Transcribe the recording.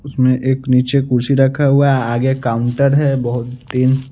उसमें एक नीचे कुर्सी रखा हुआ है आगे काउंटर है बहोत दिन--